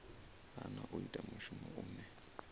hana u ita mushumo une